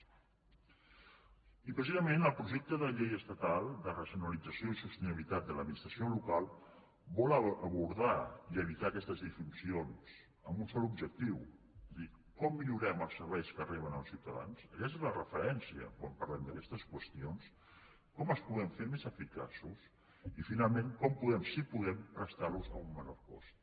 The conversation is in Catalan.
i precisament el projecte de llei estatal de racionalització i sostenibilitat de l’administració local vol abordar i evitar aquestes disfuncions amb un sol objectiu és a dir com millorem els serveis que reben els ciutadans aquesta és la referència quan parlem d’aquestes qüestions com els podem fer més eficaços i finalment com podem si podem prestar los a un menor cost